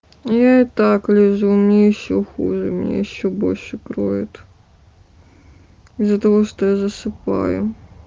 я и так лежу мне ещё хуже меня ещё больше кроет из-за того что я засыпаю